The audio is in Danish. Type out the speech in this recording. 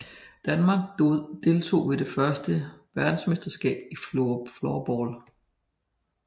Danmark deltog ved det første VM i floorball